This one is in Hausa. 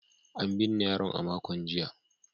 An binne yaron a makon jiya.